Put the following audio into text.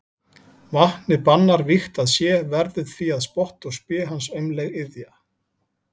Vatnið bannar vígt að sé, verður því að spotti og spé hans aumleg iðja.